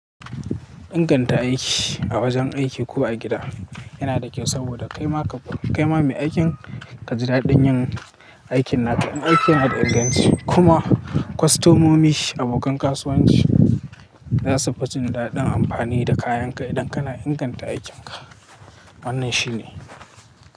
Inganta aiki a wajen aiki ko a gida yana da kyau saboda kaima ka, kaima mai aikin ka ji daɗin yin aikin naka. In aiki na da inganci kuma kwastomomi abokan kasuwanci za su fi jin daɗin amfani da kayan ka idan kana inganta aikinka. Wannan shi ne.